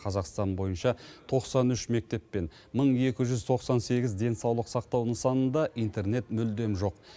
қазақстан бойынша тоқсан үш мектеп пен мың екі жүз тоқсан сегіз денсаулық сақтау нысанында интернет мүлдем жоқ